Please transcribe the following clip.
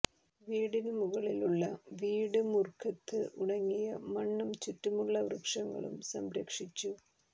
വീടിനു മുകളിലുള്ള വീട് മുർഖത്ത് ഉണങ്ങിയ മണ്ണും ചുറ്റുമുള്ള വൃക്ഷങ്ങളും സംരക്ഷിച്ചു